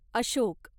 Ashok